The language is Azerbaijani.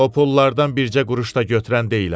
O pullardan bircə quruş da götürən deyiləm.